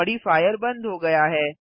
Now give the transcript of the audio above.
modifier बंद हो गया है